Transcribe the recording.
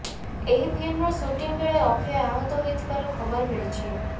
ଏହି ଫିଲ୍ମର ସୁଟିଂ ବେଳେ ଅକ୍ଷୟ ଆହତ ହୋଇଥିବାର ଖବର ମିଳିଛି